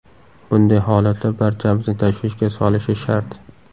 Bunday holatlar barchamizni tashvishga solishi shart.